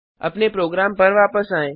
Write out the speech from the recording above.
अपने प्रोग्राम पर वापस आएं